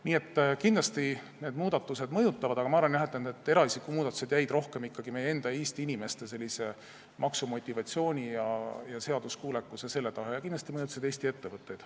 Nii et kindlasti need muudatused mõjutavad, aga ma arvan, et need eraisiku maksustamise muudatused puudutasid rohkem ikkagi meie enda Eesti inimeste maksumotivatsiooni, seaduskuulekust ja teisi selliseid asju ning kindlasti mõjutasid Eesti ettevõtteid.